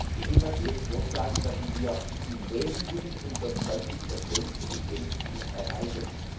Mit dem, was wir jetzt vorschlagen, werden wir im Wesentlichen unser 20 Effizienzziel erreichen.